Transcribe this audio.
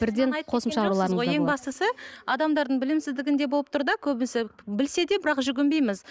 бірден ең бастысы адамдардың білімсіздігінде болып тұр да көбісі білсе де бірақ жүгінбейміз